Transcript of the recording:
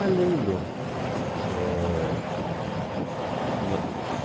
Ah, lembro. Eh